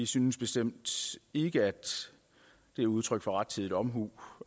synes bestemt ikke at det er udtryk for rettidig omhu